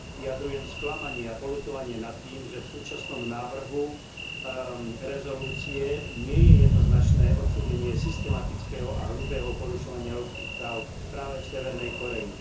Vyjadrujem sklamanie a poľutovanie nad tým, že v súčasnom návrhu uznesenia nie je jednoznačné odsúdenie systematického a hrubého porušovania ľudských práv práve v Severnej Kórei.